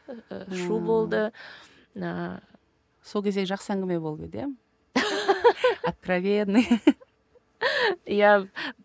шу болды ыыы сол кезде жақсы әңгіме болып еді иә откровенный иә